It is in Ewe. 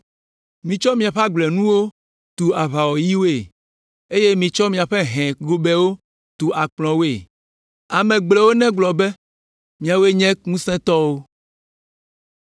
Mitsɔ miaƒe agblenuwo tu aʋawɔyiwoe eye mitsɔ miaƒe hɛ gobɛwo tu akplɔwoe. Ame gblɔewo negblɔ be, ‘Miawoe nye ŋusẽtɔwo.’